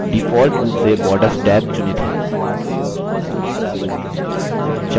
default रूप से borders tab चुनित है